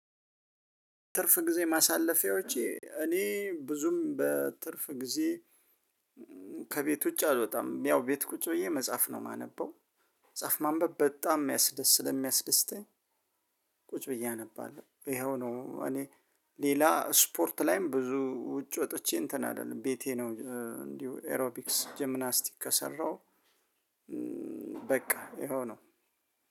ትርፍ ጊዜ ማሳለፊያዎቼ እኔ ብዙም በትርፍ ጊዜ ከቤት ውጭ አልወጣም ያው ቤት ቁጭ ብዬ መጻፍ ነው ማነበው መጻፍ ማንበብ በጣም የሚያስደስት ስለሚያስደስተኝ። ቁጭ ብዬ አነባለሁ ይኸው ነው። እኔ ሌላ ስፖርት ላይም ብዙ ውጭ ወጥቼ እንትን አይደለም ቤቴ ነው እንዲሁ ኤሮፒክስ ጅምናስቲክ ከሰራሁ። በቃ ይሄው ነው።